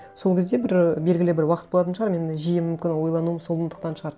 сол кезде бір ы белгілі бір уақыт болатын шығар мен жиі мүмкін ойлануым сондықтан шығар